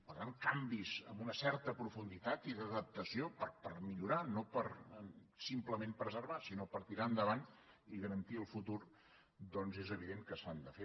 per tant canvis amb una certa profunditat i d’adaptació per millorar no per simplement preservar sinó per tirar endavant i garantir el futur doncs és evident que s’han de fer